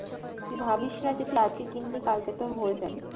তুই ভাবিসনা যে তুই আজকে কিনলি কালকে তোর হয়ে যাবে।